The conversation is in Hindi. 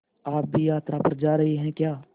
आप भी यात्रा पर जा रहे हैं क्या